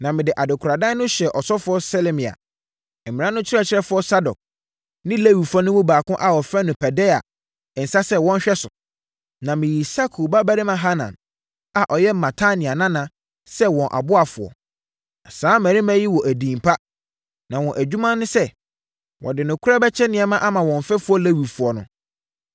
Na mede adekoradan no hyɛɛ ɔsɔfoɔ Selemia, mmara no ɔkyerɛkyerɛfoɔ Sadok ne Lewifoɔ no mu baako a wɔfrɛ no Pedaia nsa sɛ wɔnhwɛ so. Na meyii Sakur babarima Hanan a ɔyɛ Matania nana sɛ wɔn ɔboafoɔ. Na saa mmarima yi wɔ edin pa, na wɔn adwuma ne sɛ, wɔde nokorɛ bɛkyɛ nneɛma ama wɔn mfɛfoɔ Lewifoɔ no.